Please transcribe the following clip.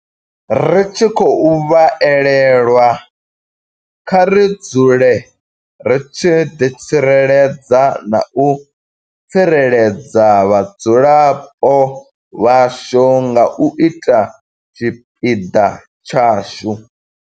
Ri tshi khou vha elelwa, kha ri dzule ri tshi ḓitsireledza na u tsireledza vhadzulapo vhashu nga u ita tshipiḓa tshashu.